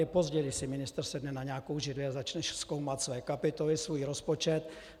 Je pozdě, když si ministr sedne na nějakou židli a začne zkoumat své kapitoly, svůj rozpočet.